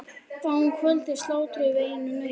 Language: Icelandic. Þá um kvöldið slátruðum við einu nauti.